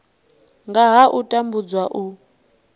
nga ha u tambudzwa u